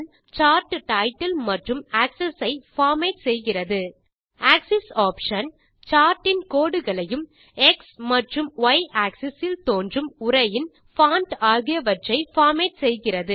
chart title மற்றும் axis ஐ format செய்கிறது ஆக்ஸிஸ் ஆப்ஷன் சார்ட் இன் கோடுகளையும் எக்ஸ் மற்றும் ய் ஆக்ஸஸ் இல் தோன்றும் உரையின் பான்ட் ஆகியவற்றை பார்மேட் செய்கிறது